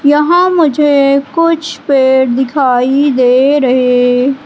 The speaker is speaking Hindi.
यहां मुझे कुछ पेड़ दिखाई दे रहे--